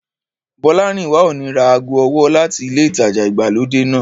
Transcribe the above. Bọ́lárìnwá ò ní ra ago ọwọ́ láti ilé ìtajà ìgbàlódé náà